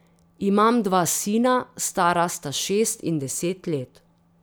Imam dva sina, stara sta šest in deset let.